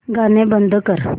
गाणं बंद कर